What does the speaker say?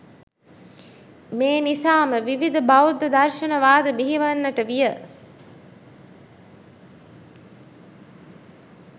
මේ නිසාම විවිධ බෞද්ධ දර්ශන වාද බිහිවන්නට විය.